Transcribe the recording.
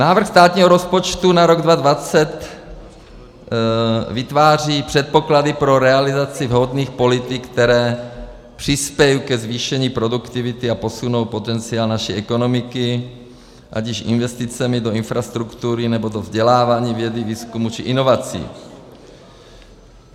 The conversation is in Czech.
Návrh státního rozpočtu na rok 2020 vytváří předpoklady pro realizaci vhodných politik, které přispějí ke zvýšení produktivity a posunou potenciál naší ekonomiky, ať již investicemi do infrastruktury, nebo do vzdělávání, vědy, výzkumu či inovací.